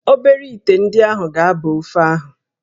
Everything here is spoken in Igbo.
Obere íté ndị ahụ ga-aba ofe ahụ